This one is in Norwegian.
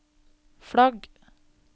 flagg